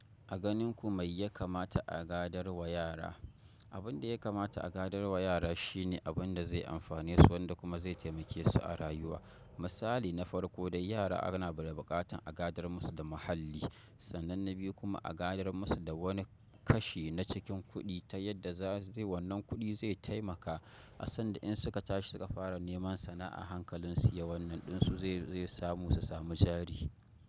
A ganin ku, mai ya kamata a gadar wa yara? Abin da ya kamata a gadar wa yara shi ne abin da zai amfane su wanda kuma zai taimake su a rayuwa. Misali na farko dai yara ana ba da buƙatan a gadar musu da muhalli. Sannan na biyu kuma a gadar musu da wani kashi na cikin kuɗi ta yadda zai wannan kuɗi zai taimaka a sanda in suka tashi suka fara neman sana'a hankalin su ya wannan ɗinsu zai samu su sami jari.